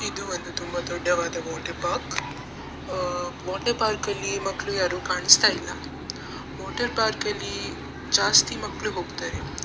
ಇದು ಒಂದು ತುಂಬಾ ದೊಡ್ಡವಾದ ವಾಟರ್‌ ಪಾರ್ಕ್‌ ವಾಟರ್‌ ಪಾರ್ಕ್‌ ಅಲ್ಲಿ ಮಕ್ಳು ಯಾರು ಕಾಣಿಸ್ತಾ ಇಲ್ಲ ವಾಟರ್‌ ಪಾರ್ಕ್‌ ಅಲ್ಲಿ ಜಾಸ್ತಿ ಮಕ್ಕ್‌ಳು ಹೋಗ್ತಾರೆ.